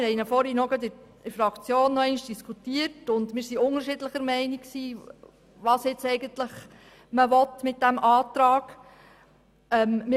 Wir haben ihn soeben in der Fraktion diskutiert und waren unterschiedlicher Meinung, was man mit diesem Antrag will.